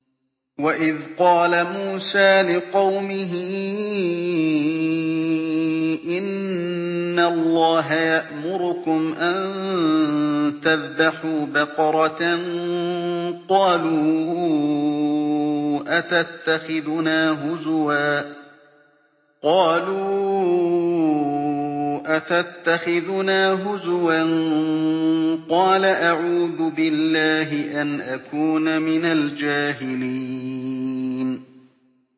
وَإِذْ قَالَ مُوسَىٰ لِقَوْمِهِ إِنَّ اللَّهَ يَأْمُرُكُمْ أَن تَذْبَحُوا بَقَرَةً ۖ قَالُوا أَتَتَّخِذُنَا هُزُوًا ۖ قَالَ أَعُوذُ بِاللَّهِ أَنْ أَكُونَ مِنَ الْجَاهِلِينَ